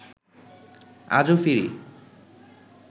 আজো ফিরি